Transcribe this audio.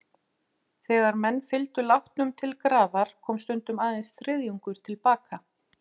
Þegar menn fylgdu látnum til grafar, kom stundum aðeins þriðjungur til baka.